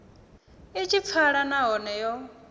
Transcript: i tshi pfala nahone yo